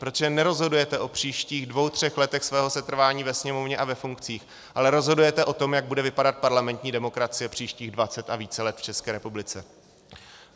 Protože nerozhodujete o příštích dvou třech letech svého setrvání ve Sněmovně a ve funkcích, ale rozhodujete o tom, jak bude vypadat parlamentní demokracie příštích dvacet a více let v České republice.